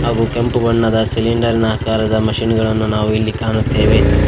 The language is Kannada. ಹಾಗು ಕೆಂಪು ಬಣ್ಣದ ಸಿಲಿಂಡರ್ ನ ಆಕಾರದ ಮಷೀನ್ ಗಳನ್ನು ನಾವು ಇಲ್ಲಿ ಕಾಣುತ್ತೇವೆ.